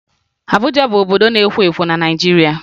Abuja bụ obodo na-ekwo ekwo na Naịjirịa